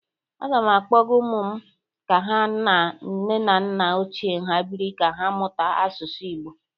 Aga m akpọga ụmụ m ka ha na nne na nna ochie ha bịrị ka ha mmụta asụsụ Igbo.